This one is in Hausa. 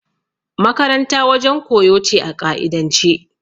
Makaranta wajen koyo ce a ƙa'idance.